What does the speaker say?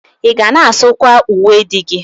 Ị ga na-asụkwa uwe di gị?